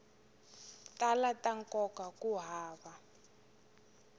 tala ta nkoka ku hava